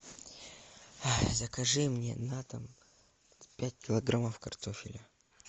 закажи мне на дом пять килограммов картофеля